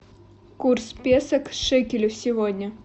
курс песо к шекелю сегодня